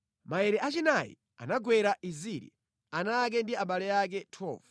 Maere achinayi anagwera Iziri, ana ake ndi abale ake. 12